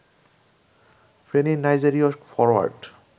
ফেনীর নাইজেরীয় ফরোয়ার্ড